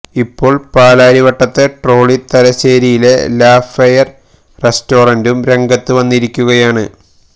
ഇപ്പോള് പാലാരിവട്ടത്തെ ട്രോളി തലശ്ശേരിയിലെ ലാ ഫെയര് റെസ്റ്റോറന്റും രംഗത്ത് വന്നിരിക്കുകയാണ്